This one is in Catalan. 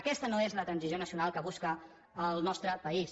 aquesta no és la transició nacional que busca el nostre país